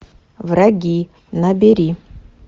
враги набери